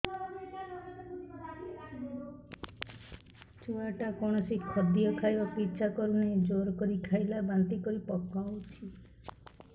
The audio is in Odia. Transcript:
ଛୁଆ ଟା କୌଣସି ଖଦୀୟ ଖାଇବାକୁ ଈଛା କରୁନାହିଁ ଜୋର କରି ଖାଇଲା ବାନ୍ତି କରି ପକଉଛି